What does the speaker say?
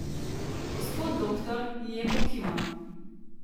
Gospod Doktor ji je pokimal.